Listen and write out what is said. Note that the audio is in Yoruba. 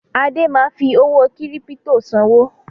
Adé ma fi owó kírípítò sanwó